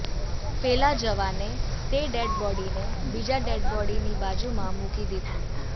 પેલા જવાને તે ડેડ બોડીને બીજા ડેડબોડીની બાજુમાં મૂકી દીધું